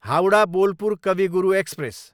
Howrah, Bolpur Kavi Guru express